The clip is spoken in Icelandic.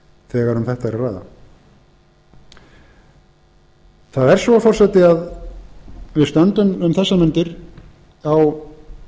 þegar um þetta er að ræða það er svo forseti að við stöndum um þessar mundir á